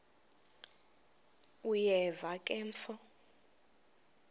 uyeva ke mfo